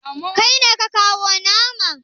Kai ne ka kawo nama?